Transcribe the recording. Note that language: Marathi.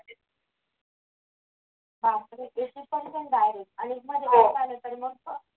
बापरे! eighty percent direct अनेकदा बाहेर आल तर मग